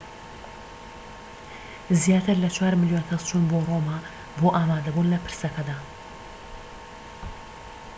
زیاتر لە چوار ملیۆن کەس چوون بۆ ڕۆما بۆ ئامادەبوون لە پرسەکەدا